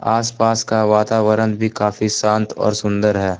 आसपास का वातावरण भी काफी शांत और सुंदर है।